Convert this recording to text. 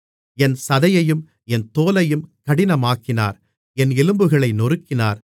என் சதையையும் என் தோலையும் கடினமாக்கினார் என் எலும்புகளை நொறுக்கினார்